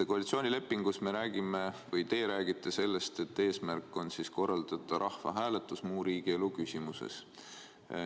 Koalitsioonilepingus te räägite sellest, et eesmärk on korraldada rahvahääletus muus riigielu küsimuses.